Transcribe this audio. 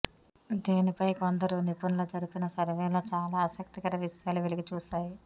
దీనిపై కొందరు నిపుణులు జరిపిన సర్వేలో చాలా ఆసక్తికర విషయాలు వెలుగుచూశాయి